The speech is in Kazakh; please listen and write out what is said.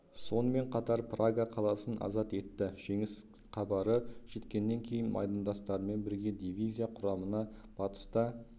сонымен қатар прага қаласын азат етті жеңіс хабары жеткеннен кейін майдандастарымен бірге дивизия құрамында батыста